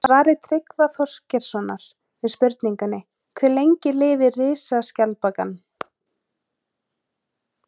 Í svari Tryggva Þorgeirssonar við spurningunni Hve lengi lifir risaskjaldbakan?